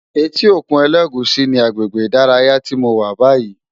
Éti ókún Elegushi ni àgbégbé idàráyá ti mó wà bàyí